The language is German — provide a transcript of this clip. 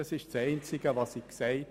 Nur das habe ich gesagt.